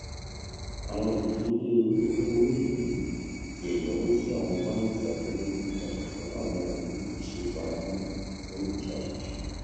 àwọn ìdíyelé owó èlé ti ẹyáwó tí àwọn bánkì abẹlé gbé kalẹ fún àwọn onílé ṣe é faramọ fún ìṣàtúnṣe